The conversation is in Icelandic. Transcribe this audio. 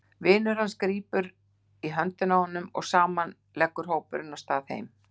Vinur hans grípur í höndina á honum og saman leggur hópurinn af stað heim.